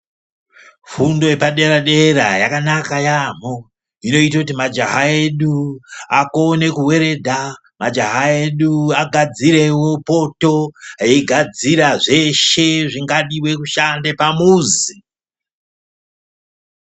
Fundo yepadera dera yakanaka yaamho. Inoite kuti majaha edu akone kuweridha. Majaha edu agadzirewo poto. Eigadzire zveshe zvingadiwa kushande pamuzi.